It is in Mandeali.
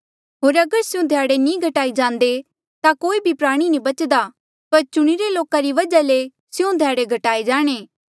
होर अगर स्यों ध्याड़े नी घटाए जांदे ता कोई भी प्राणी नी बचदा पर चुणिरे लोका री वजहा ले स्यों ध्याड़े घटाये जाणे